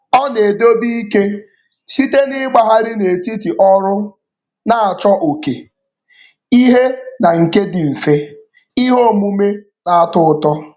Ọ na-edobe ike site n'ịgbagharị n'etiti ọrụ na-achọ oke ihe na nke dị mfe, ihe omume na-atọ ụtọ.